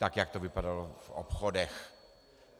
Tak, jak to vypadalo v obchodech.